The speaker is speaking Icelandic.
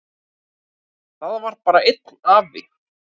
Það var bara einn afi.